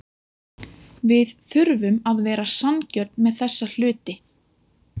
Við þurfum að vera sanngjörn með þessa hluti.